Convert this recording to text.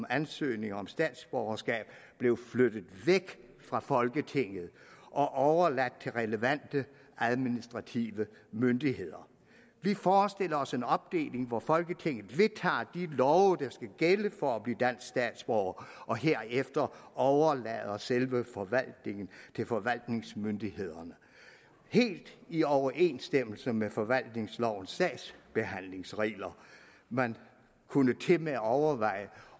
ansøgninger om statsborgerskab blev flyttet væk fra folketinget og og overladt til relevante administrative myndigheder vi forestiller os en opdeling hvor folketinget vedtager de love der skal gælde for at blive dansk statsborger og herefter overlader selve forvaltningen til forvaltningsmyndighederne helt i overensstemmelse med forvaltningslovens sagsbehandlingsregler man kunne tilmed overveje